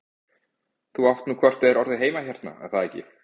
Þú átt nú hvort eð er orðið heima hérna, er það ekki?